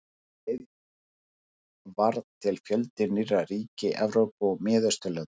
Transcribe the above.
Um leið varð til fjöldi nýrra ríkja í Evrópu og Miðausturlöndum.